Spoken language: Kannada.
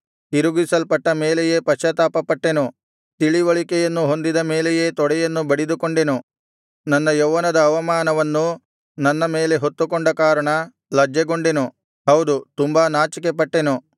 ತಿರುಗಿಸಲ್ಪಟ್ಟ ಮೇಲೆಯೇ ಪಶ್ಚಾತ್ತಾಪ ಪಟ್ಟೆನು ತಿಳಿವಳಿಕೆಯನ್ನು ಹೊಂದಿದ ಮೇಲೆಯೇ ತೊಡೆಯನ್ನು ಬಡಿದುಕೊಂಡೆನು ನನ್ನ ಯೌವನದ ಅವಮಾನವನ್ನು ನನ್ನ ಮೇಲೆ ಹೊತ್ತುಕೊಂಡ ಕಾರಣ ಲಜ್ಜೆಗೊಂಡೆನು ಹೌದು ತುಂಬಾ ನಾಚಿಕೆಪಟ್ಟೆನು